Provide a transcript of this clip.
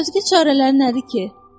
Özgə çarələri nədi ki?